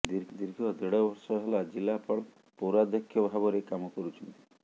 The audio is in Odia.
ଦୀର୍ଘ ଦେଢ଼ ବର୍ଷ ହେଲା ଜିଲ୍ଲାପାଳ ପୌରାଧକ୍ଷ ଭାବରେ କାମ କରୁଛନ୍ତି